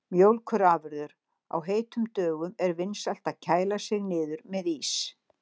Mjólkurafurðir: Á heitum dögum er vinsælt að kæla sig niður með ís.